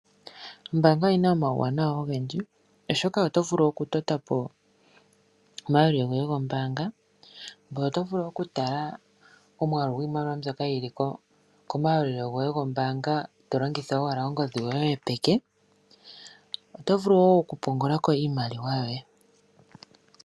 Ombaanga oyina omauwanawa ogendji osho oto vulu okutotapo omayalulilo goye gombaanga. Ngoye oto vulu okutala omwaalu gwiimaliwa mbyoka yili komayalulilo goye gombaanga to longitha owala ongodhi yoye yopeke. Oto vulu wo okupungula ko iimaliwa yoye